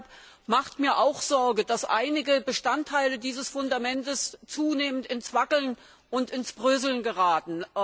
Deshalb macht mir auch Sorge, dass einige Bestandteile dieses Fundaments zunehmend ins Wackeln und ins Bröseln geraten.